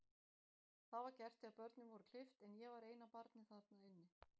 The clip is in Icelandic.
Það var gert þegar börnin voru klippt, en ég var eina barnið þarna inni.